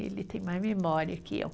Ele tem mais memória que eu.